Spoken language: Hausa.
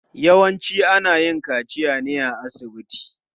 Yawanci ana yin kaciya ne a asibiti.